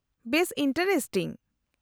-ᱵᱮᱥ ᱤᱱᱴᱟᱨᱮᱥᱴᱤᱝ !